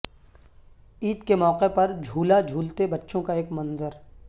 عید کے موقع پر جھولا جھولتے بچوں کا ایک منظر